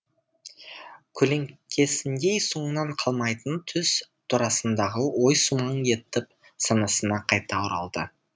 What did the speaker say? көлеңкесіндей соңынан қалмайтын түс турасындағы ой сумаң етіп санасына қайта оралды